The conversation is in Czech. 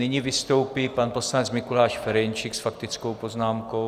Nyní vystoupí pan poslanec Mikuláš Ferjenčík s faktickou poznámkou.